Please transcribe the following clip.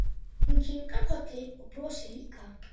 Hún kinkar kolli og brosir líka.